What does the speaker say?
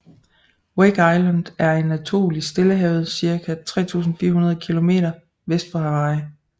Wake Island er en atol i Stillehavet cirka 3400 km vest for Hawaii